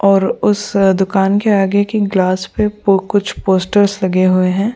और उस दुकान के आगे की ग्लास पे कुछ पोस्टर्स लगे हुए हैं।